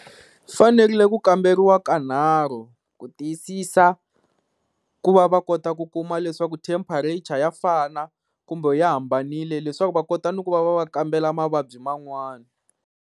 Fanerile ku kamberiwa kanharhu ku tiyisisa ku va va kota ku kuma leswaku temperature ya fana kumbe yi hambanile, leswaku va kota ni ku va va va kambela mavabyi man'wani.